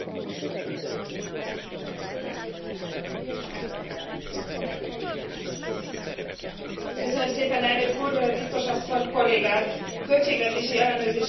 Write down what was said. A Költségvetési Ellenőrző Bizottság nevében üdvözlöm az új testület fölállítást, amely az egyik legfontosabb gyakorlati átültetése a Lisszaboni Szerződésnek.